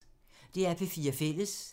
DR P4 Fælles